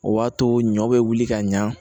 O b'a to ɲɔ bɛ wuli ka ɲa